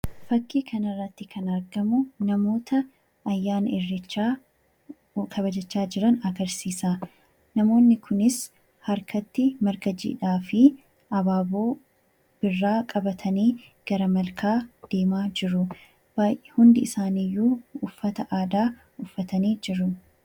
Fakkii kanarratti kan argamu namoota ayyaana irreechaa kabajachaa jiran agarsiisa. Namoonni kunis harkatti marga jiidhaa fi abaaboo birraa qabatanii gara malkaa deemaa jiru. Hundi isaaniiyyuu uffata aadaa uffatanii jiru.